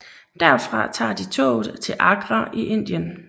Derfra tager de toget til Agra i Indien